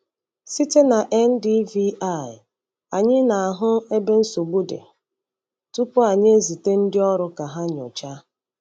Site na NDVI, anyị na-ahụ ebe nsogbu dị tupu anyị ezite ndị ọrụ ka ha nyochaa.